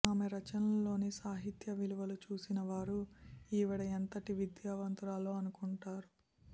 ఆమె రచనల్లోని సాహిత్య విలువలు చూసిన వారు ఈవిడ ఎంతటి విద్యావంతురాలో అనుకుంటారు